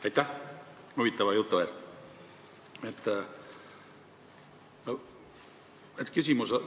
Aitäh huvitava jutu eest!